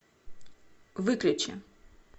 выключи